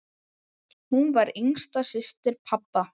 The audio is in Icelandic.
Hún var yngsta systir pabba.